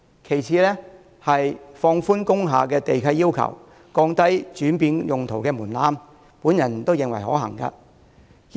其次是放寬工廈地契要求，降低轉變用途的門檻，我認為亦是可行做法。